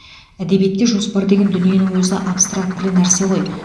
әдебиетте жоспар деген дүниенің өзі абстрактілі нәрсе ғой